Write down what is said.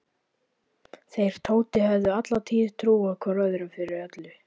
Þeir Tóti höfðu alla tíð trúað hvor öðrum fyrir öllu.